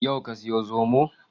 Yau ka sayi zomo?